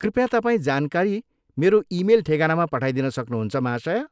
कृपया तपाईँ जानकारी मेरो इमेल ठेगानामा पठाइदिन सक्नुहुन्छ, महाशय?